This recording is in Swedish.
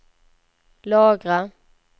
lagra